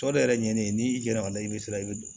Tɔ de yɛrɛ ɲɛnen ye n'i yɛlɛla a la i be sira i be don